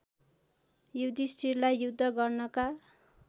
युधिष्ठिरलाई युद्ध गर्नका